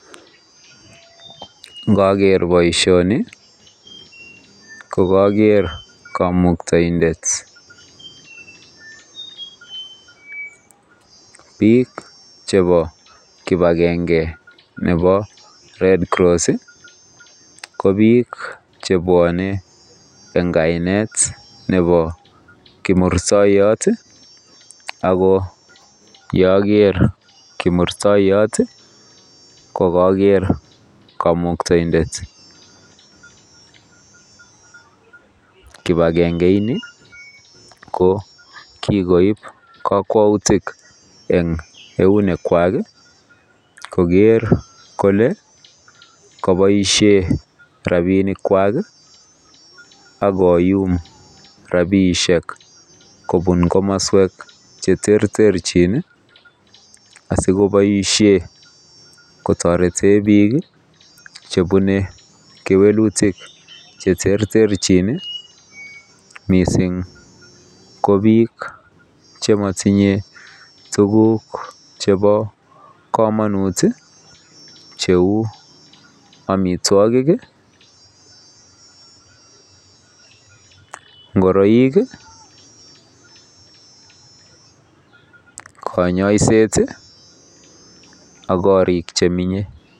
Ngager baishoni kokager kamuktaendet bik chebo kibagenge Nebo red cross kobik chebwanen en kainet Nebo kimursoiyot akoyager kimursoiyot kogager kamuktaendet kibagenge ini ko kikoib kakwautik en eunek Kwak Koger Kole kobaishen rabinik Kwak akoyum rabishek kobun kamaswek cheterterchin asikebaishen kotareten bik chebune kewelutik cheterterchin mising ko bik chematinye tuguk Cheba kamanut cheu amitwagik ngoroik konyoiset ak korik chemenye